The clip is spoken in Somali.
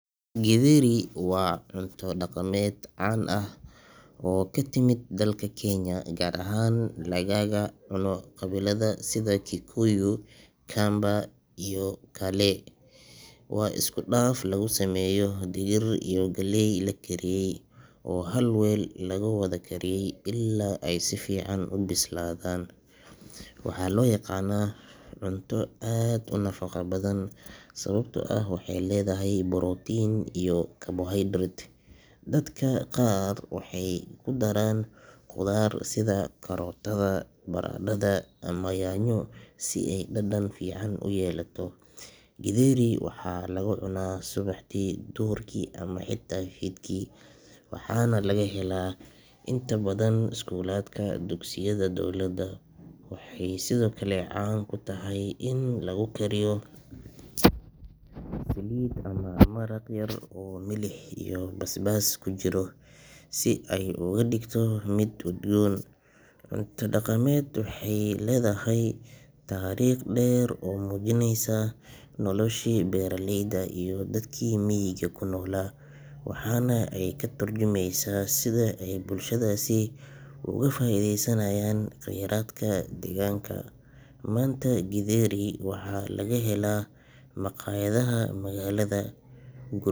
Githeri waa cunto dhaqameed caan ah oo ka timid dalka Kenya, gaar ahaan lagaga cuno qabiilada sida Kikuyu, Kamba iyo kale. Waa isku dhaf laga sameeyo digir iyo galley la kariyay oo hal weel lagu wada kariyo ilaa ay si fiican u bislaadaan. Waxaa loo yaqaannaa cunto aad u nafaqo badan, sababtoo ah waxay leedahay borotiin iyo karbohaydarayt. Dadka qaar waxay ku daraan khudaar sida karootada, baradhada ama yaanyo si ay u dhadhan fiican u yeelato. Githeri waxaa lagu cunaa subaxdii, duhurkii ama xitaa fiidkii waxaana laga helaa inta badan iskuulaadka dugsiyada dowladda. Waxay sidoo kale caan ku tahay in lagu kariyo saliid ama maraq yar oo milix iyo basbaas ku jiro si ay uga dhigto mid udgoon. Cuntadan dhaqameed waxay leedahay taariikh dheer oo muujinaysa noloshii beeraleyda iyo dadkii miyiga ku noolaa, waxaana ay ka tarjumaysaa sida ay bulshadaasi uga faa'iidaysanayeen kheyraadka deegaanka. Maanta, Githeri waxaa laga helaa makhaayadaha magaalada, gur.